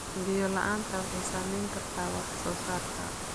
Biyo la'aanta waxay saameyn kartaa wax soo saarka.